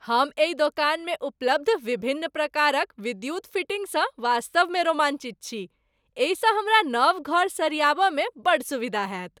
हम एहि दोकानमे उपलब्ध विभिन्न प्रकारक विद्युत फिटिंगसँ वास्तवमे रोमांचित छी। एहिसँ हमरा नव घर सरियाबऽ मे बड़ सुविधा होयत ।